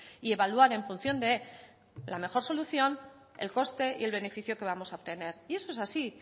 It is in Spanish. y evaluar en función de la mejor solución el coste y el beneficio que vamos a obtener y eso es así